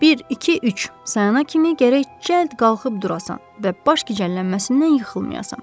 Bir, iki, üç, sayana kimi gərək cəld qalxıb durasan və başgicəllənməsindən yıxılmayasan.